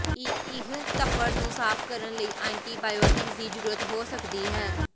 ਇਹ ਧੱਫੜ ਨੂੰ ਸਾਫ਼ ਕਰਨ ਲਈ ਐਂਟੀਬਾਇਓਟਿਕਸ ਦੀ ਜ਼ਰੂਰਤ ਹੋ ਸਕਦੀ ਹੈ